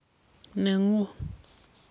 Nengung.